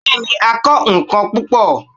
bẹẹni, a kọ nkán pupọ